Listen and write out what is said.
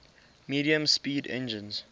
medium speed engines